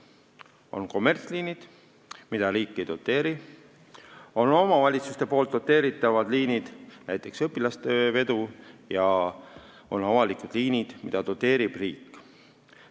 On kommertsliinid, mida riik ei doteeri, on omavalitsuste doteeritavad liinid, näiteks õpilaste veoks, ja on avalikud liinid, mida doteerib riik.